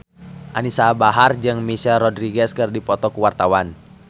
Anisa Bahar jeung Michelle Rodriguez keur dipoto ku wartawan